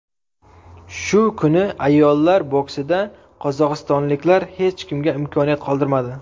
Shu kuni ayollar boksida qozog‘istonliklar hech kimga imkoniyat qoldirmadi.